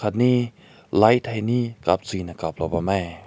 ani light hae ni kap chui na kap loa bam meh.